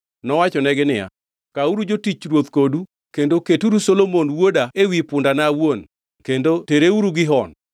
nowachonegi niya, “Kauru jotich ruoth kodu kendo keturu Solomon wuoda e punda awuon kendo tereuru Gihon.